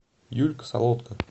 юлька солодка